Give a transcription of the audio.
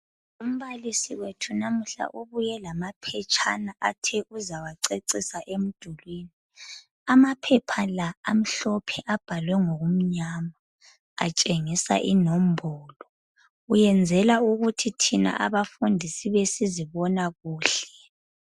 Umbalisi wethu namuhla ubuye lamaphetshana athe uzawacecisa emdulwini. Amaphepha la amhlophe abhalwe ngokumnyama, atshengisa inombolo. Uyenzela ukuthi thina abafundi sibe sizibona kuhle.